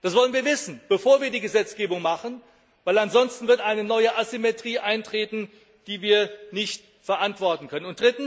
Das wollen wir wissen, bevor wir die Gesetzgebung machen, weil ansonsten eine neue Asymmetrie eintreten wird, die wir nicht verantworten können.